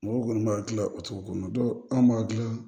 Mɔgɔw kɔni b'a gilan o cogo kɔnɔ anw b'a gilan